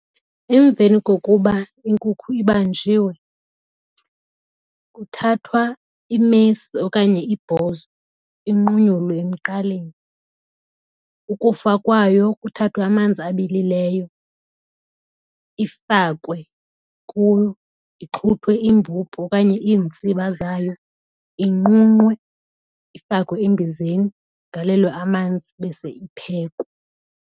Emveni kokuba inkukhu ibanjiwe kuthathwa imesi okanye ibhozo inqunyulwe emqaleni. Ukufa kwayo kuthathwe amanzi abilileyo ifakwe kuwo ixhuthwe imbubhu okanye iintsiba zayo. Inqunqwe ifakwe embizeni galelwe amanzi bese iphekwe.